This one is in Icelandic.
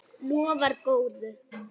Lofar góðu.